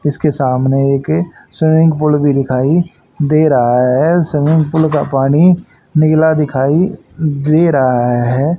इसके सामने एक स्विमिंग पूल भी दिखाई दे रहा है स्विमिंग पूल का पानी नीला दिखाई दे रहा है।